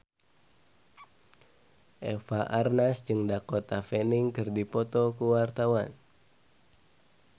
Eva Arnaz jeung Dakota Fanning keur dipoto ku wartawan